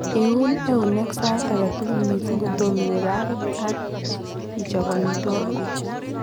Iuun einek saait aketugul mising kotomo iwe baabit ak ichobe omitwogik